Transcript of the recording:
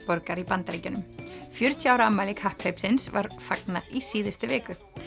borgar í Bandaríkjunum fjörutíu ára afmæli kapphlaupsins var fagnað í síðustu viku